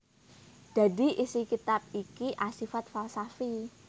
Dadi isi kitab iki asifat falsafi